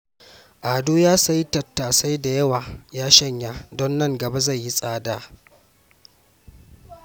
Ado ya sayi tattasai da yawa ya shanya don nan gaba zai yi tsada